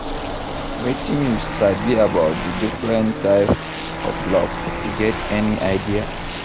Wetin you sabi about di different types of love, you get any idea?